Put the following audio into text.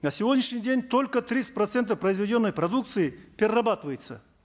на сегодняшний день только тридцать процентов произведенной продукции перерабатывается